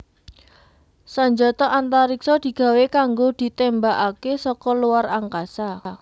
Sanjata antariksa digawé kanggo ditémbakaké saka luar angkasa